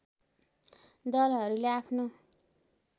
दलहरूले आफ्नो